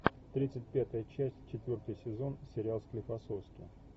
тридцать пятая часть четвертый сезон сериал склифосовский